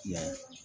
Yan